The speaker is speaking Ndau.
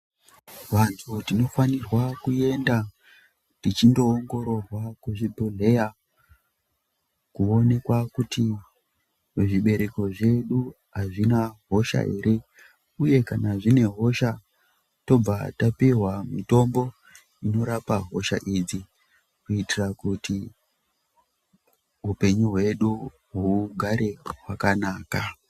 Vantu tinofanirwa kuenda tichinoongororwa kuzvibhedhleya kuoneka kuti zvibereko zvedu hazvina hosha ere, uye kana zvine hosha tobva tapihwa mitombo inorapa hosha idzi. Kuitira kuti hupenyu hwedu hugare hwakanaka.